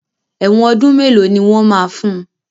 Ẹ̀wọ́n ọdún mélòó ni wọ́n máa fun?